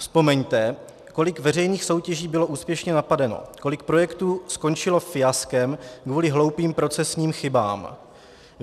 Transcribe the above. Vzpomeňte, kolik veřejných soutěží bylo úspěšně napadeno, kolik projektů skončilo fiaskem kvůli hloupým procesním chybám.